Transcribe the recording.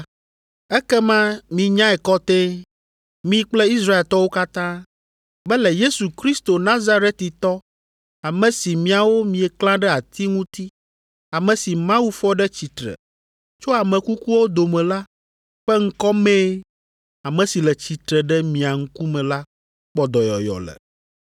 ekema minyae kɔtɛe, mi kple Israeltɔwo katã, be le Yesu Kristo Nazaretitɔ, ame si miawo mieklã ɖe ati ŋuti, ame si Mawu fɔ ɖe tsitre tso ame kukuwo dome la ƒe ŋkɔ mee ame si le tsitre ɖe mia ŋkume la kpɔ dɔyɔyɔ le.